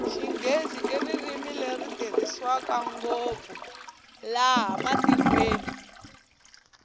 xinghezi hi ririmi leri tirhiswa ngopfu lana tikweni